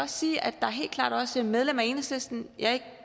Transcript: sige at der helt klart også er medlemmer af enhedslisten jeg er ikke